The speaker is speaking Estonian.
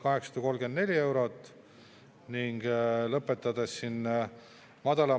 Eelnõu 148 teine lugemine on järjekordne näide sellest, kuidas ei tohiks käituda – siduda eelnõu usaldushääletusega.